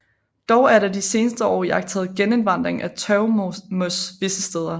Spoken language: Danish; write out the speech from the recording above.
Dog er der de seneste år iagttaget genindvandring af tørvemos visse steder